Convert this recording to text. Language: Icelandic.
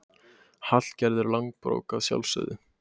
Hallgerður langbrók, að sjálfsögðu.